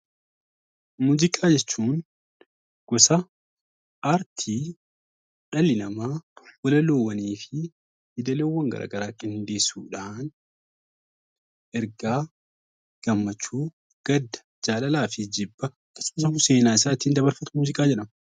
Muuziqaa jechuun gosa aartii dhalli namaa yeedaloowwanii fi walaloowwan ittiin dhiheessudhaan ergaa, gammachuu, gadda jaalalaa fi jibba seenaa isaa ittiin dabarsu muuziqaa jedhama.